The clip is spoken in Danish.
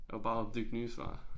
Og bare opdigte nye svar